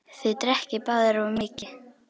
Þið drekkið báðir of mikið.